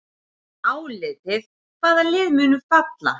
Álitið: Hvaða lið munu falla?